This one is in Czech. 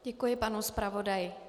Děkuji panu zpravodaji.